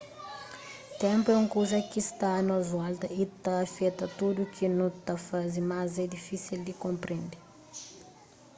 ténpu é un kuza ki sta a nos volta y ta afeta tudu ki nu ta faze mas é difísil di konprende